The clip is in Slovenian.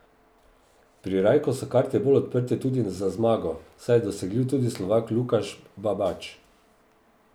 Pri Rajku so karte bolj odprte tudi za zmago, saj je dosegljiv tudi Slovak Lukaš Babač.